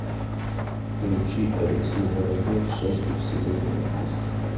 включи алексей воробьев счастлив сегодня и здесь